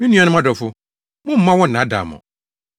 Me nuanom adɔfo, mommma wɔnnnaadaa mo.